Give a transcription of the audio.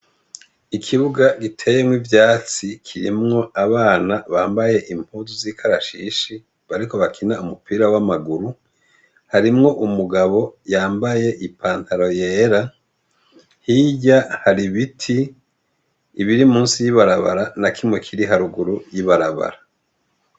Ikibuga giteyemwo ivyatsi kirimwo abana bambaye impuzu z'ikarashishi bariko bakina umupira w'amaguru harimwo umugabo yambaye ipantaro yera hirya hari ibiti ibiri musi y'ibarabara na kimwe kiri haruguru y'ibarabara.